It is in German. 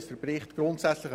Daniel Zurflüh-Begré (d)